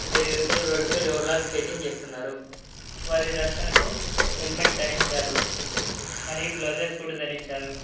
ఇద్దరు యువకులు రోడ్ పై రోలర్ స్కేటింగ్ చేస్తున్నారు వారి రక్షణకు హెల్మెట్ ధరించారు మరియు గ్లౌజెస్ కూడా ధరించారు.